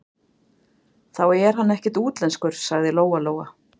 Þá er hann ekkert útlenskur, sagði Lóa-Lóa.